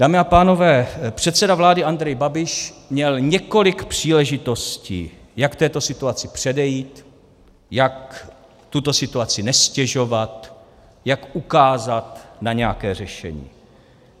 Dámy a pánové, předseda vlády Andrej Babiš měl několik příležitostí, jak této situaci předejít, jak tuto situaci neztěžovat, jak ukázat na nějaké řešení.